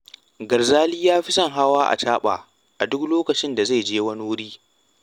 Garzali ya fi son hawa acaɓa a duk lokacin da zai je wani wuri